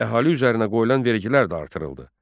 Əhali üzərinə qoyulan vergilər də artırıldı.